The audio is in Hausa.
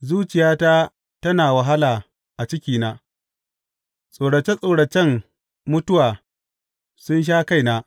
Zuciyata tana wahala a cikina; tsorace tsoracen mutuwa sun sha kaina.